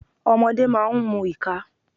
Ọmọdé máa ń mu ìka.